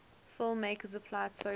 filmmakers applied socialist